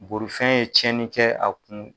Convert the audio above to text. Borifɛn ye cɛni kɛ a kun